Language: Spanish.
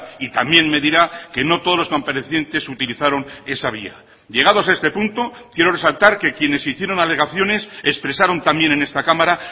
y también me dirá que no todos los comparecientes utilizaron esa vía llegados a este punto quiero resaltar que quienes hicieron alegaciones expresaron también en esta cámara